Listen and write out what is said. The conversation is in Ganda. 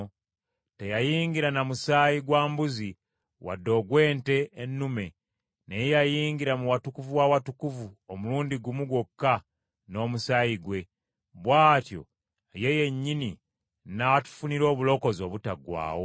Teyayingira na musaayi gwa mbuzi wadde ogw’ente ennume, naye yayingira mu Watukuvu w’Awatukuvu omulundi gumu gwokka n’omusaayi gwe; bw’atyo ye yennyini n’atufunira obulokozi obutaggwaawo.